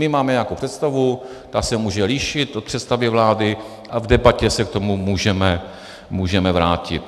My máme nějakou představu, ta se může lišit od představy vlády a v debatě se k tomu můžeme vrátit.